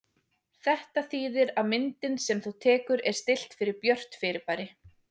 Þetta þýðir að myndin sem þú tekur er stillt fyrir björt fyrirbæri.